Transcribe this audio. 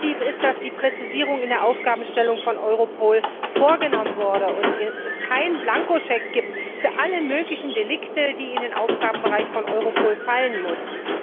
Positiv ist, dass die Präzisierung in der Aufgabenstellung von Europol vorgenommen wurde und es keinen Blankoscheck gibt für alle möglichen Delikte, die in den Aufgabenbereich von Europol fallen müssen.